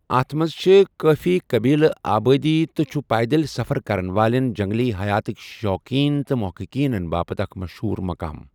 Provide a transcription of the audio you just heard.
اَتھ منٛز چھِ کٲفی قٔبیلہٕ آبادی تہٕ چھُ پیدل سَفر کرَن والٮ۪ن، جنٛگلی حیاتٕک شوقیٖن تہٕ محققیٖنَن باپتھ اکھ مشہوٗر مُقام۔